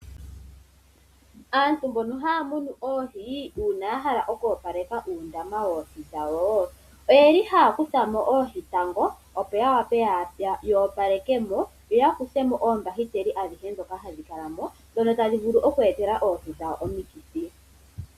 Aantu mbono haya munu oohi, uuna ya hala oku opaleka uundama woohi dhawo, oyeli haya kutha mo oohi tango , opo ya wape yo opaleke mo yo ya kuthe mo oombahiteli adhihe ndhoka hadhi kala mo, ndhono tadhi vulu oku e tela oohi dhawo omikithi.